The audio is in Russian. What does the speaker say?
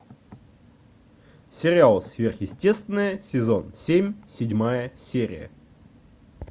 сериал сверхъестественное сезон семь седьмая серия